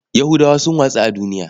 Yahudawa sun watsu a duniya.